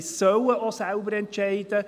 Sie auch selber entscheiden.